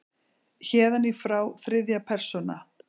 Héðan í frá þriðja persóna.